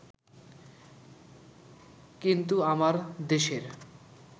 কিন্তু আমার দেশের